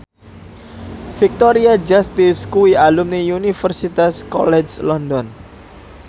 Victoria Justice kuwi alumni Universitas College London